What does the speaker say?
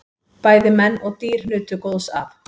Bæði menn og dýr nutu góðs af.